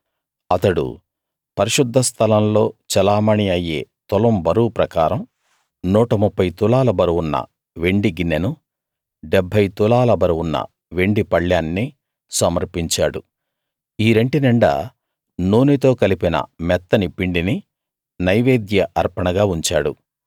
అతడు పరిశుద్ధ స్థలంలో చెలామణీ అయ్యే తులం బరువు ప్రకారం 130 తులాల బరువున్న వెండి గిన్నెనూ 70 తులాల బరువున్న వెండి పళ్ళేన్నీ సమర్పించాడు ఈ రెంటి నిండా నూనెతో కలిపిన మెత్తని పిండిని నైవేద్య అర్పణగా ఉంచాడు